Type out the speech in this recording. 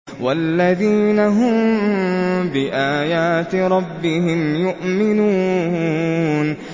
وَالَّذِينَ هُم بِآيَاتِ رَبِّهِمْ يُؤْمِنُونَ